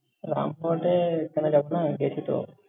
এ কেন যাস না, আমি বলছি শোন।